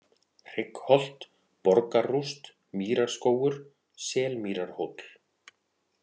Hryggholt, Borgarrúst, Mýrarskógur, Selmýrarhóll